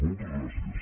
moltes gràcies